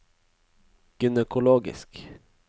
gynekologisk